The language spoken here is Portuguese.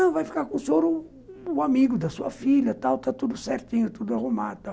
Ah, vai ficar com o senhor o amigo da sua filha e tal, está tudo certinho, tudo arrumado e tal.